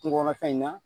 Kungo kɔnɔfɛn in na